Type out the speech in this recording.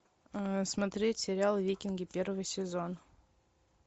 смотреть сериал викинги первый сезон